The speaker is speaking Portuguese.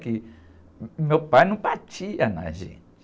Porque meu pai não batia na gente.